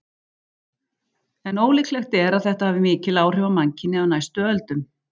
En ólíklegt er þetta hafi mikil áhrif á mannkynið á næstu öldum.